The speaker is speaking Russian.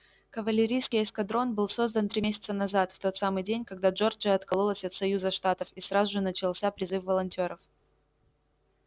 кавалерийский эскадрон был создан три месяца назад в тот самый день когда джорджия откололась от союза штатов и сразу же начался призыв волонтёров